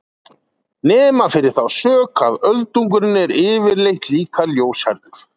Nema fyrir þá sök að öldungurinn er yfirleitt líka ljóshærður!